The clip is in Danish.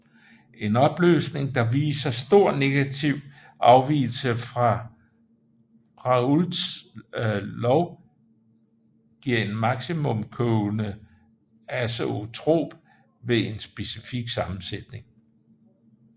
En opløsning der viser stor negativ afvigelse fra Raoults lov giver en maksimum kogende azeotrop ved en specifik sammensætning